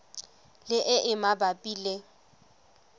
le e e mabapi le